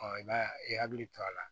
i b'a ye i hakili to a la